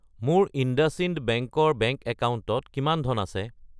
মোৰ ইণ্ডাচইণ্ড বেংক ৰ বেংক একাউণ্টত কিমান ধন আছে?